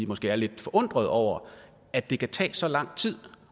måske er lidt forundrede over at det kan tage så lang tid